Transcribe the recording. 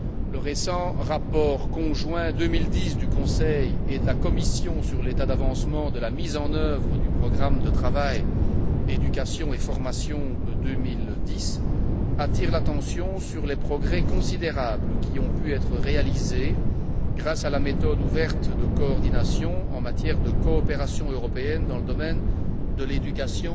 Le récent rapport conjoint 2010 du Conseil et de la Commission sur l'état d'avancement de la mise en œuvre du programme de travail éducation et formation 2010 attire l'attention sur les progrès considérables qui ont pu être réalisés grâce à la méthode ouverte de coordination en matière de coopération européenne dans le domaine de l'éducation